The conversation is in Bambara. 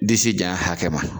Disijanya hakɛma.